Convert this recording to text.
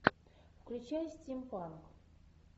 включай стим панк